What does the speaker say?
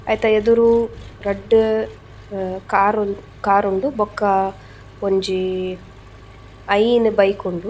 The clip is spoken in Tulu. ಐತ ಎದುರು ರಡ್ಡ್ ಕಾರ್ ಕಾರ್ ಉಂಡು ಬೊಕ್ಕ ಒಂಜೀ ಐನ್ ಬೈಕ್ ಉಂಡು.